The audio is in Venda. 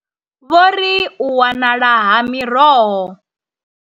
Vho ri, U wanala ha miroho.